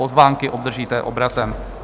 Pozvánky obdržíte obratem.